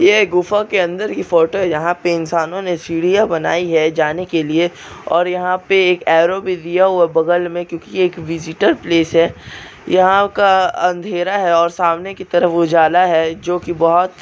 यह गुफा की अंदर की फोटो यहाँ पे इन्सानों ने सीढ़िया बनाई है। जाने के लिए और यहाँ पे एक एरो भी दिया है। बगल में क्यों की यह एक विज़िटर प्लेस है। यहाँ का अँधेरा है। और सामने की तरफ उजाला है। जोकी बहुत --